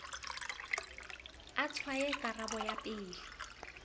a tshwaye karabo ya pele